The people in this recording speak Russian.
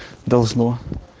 должно